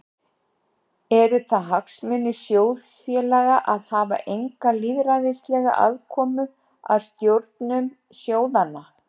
Eru það hagsmunir sjóðfélaga að hafa enga lýðræðislega aðkomu að stjórnum sjóðanna?